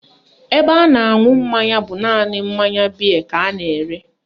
Ebe a na-aṅụ mmanya bụ naanị mmanya bịe ka a na-ere